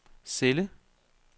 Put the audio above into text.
celle